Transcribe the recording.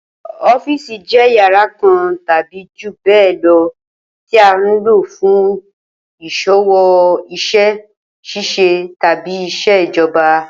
Ó̩fiìsì jé̩ yàrá kan tàbí jù bé̩è̩ lo̩ tí à ń lò fún ìs̩òwò, is̩é̩ s̩ís̩e tàbí ìs̩èjo̩ba